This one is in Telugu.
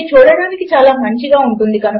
అది చూడడానికి చాలా మంచిగా ఉంటుంది